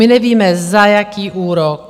My nevíme, za jaký úrok.